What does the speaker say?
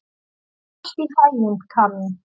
Gangi þér allt í haginn, Kamí.